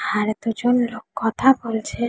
আর দুজন লোক কথা বলছে-এ।